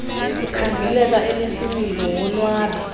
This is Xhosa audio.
ukhangeleka enesimilo wonwabe